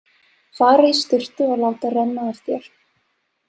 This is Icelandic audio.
Fara í sturtu og láta renna af þér.